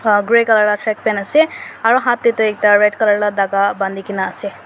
pha grey colour lah shirtpant ase aru hath teh tu ekta red colour lah dhaga bani ke na ase.